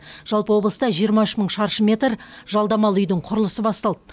жалпы облыста жиырма үш мың шаршы метр жалдамалы үйдің құрылысы басталды